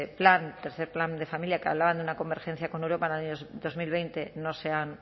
plan tercero plan de familia que hablaban de una convergencia con europa en el año dos mil veinte no se han